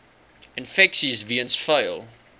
infeksies weens vuil